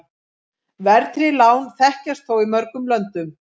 Verðtryggð lán þekkjast þó í mörgum löndum.